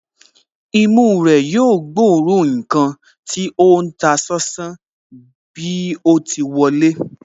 Imú rẹ̀ yóò gbóòórùn ǹkan tí ó ń ta sánsán bí o ti wọlé